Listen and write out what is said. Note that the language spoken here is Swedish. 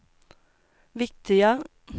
viktiga